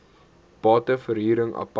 bate verhuring apart